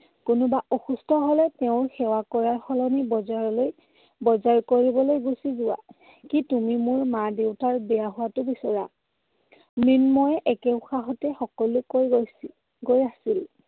কোনোবা অসুস্থ হলে তেওঁক সেৱা কৰাৰ সলনি বজাৰলৈ বজাৰ কৰিবলৈ গুছি যোৱা। কি তুমি মোৰ মা দেউতাৰ বেয়া হোৱাটো বিচাৰা? মৃন্ময়ে একে উশাহতে সকলো কৈ গৈছিল গৈ আছিল।